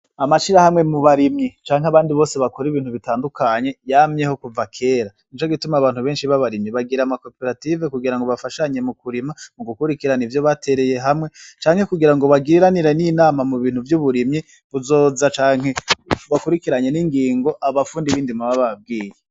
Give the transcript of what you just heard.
Amashirahamwe mu barimyi canke abandi bose bakora ibintu bitandukanye yamyeho kuva kera ,nico gituma abantu benshi babarimyi bagira ama coperative kugira bafashanye mu kurima ,mu gukuririranira ivyo batereye hamwe, canke kugira ngo bagiranire n'inama mu bintu vy'uburimyi buzoza canke bukurikiranye n'ingingo abafundi bindimo baba bababwiye.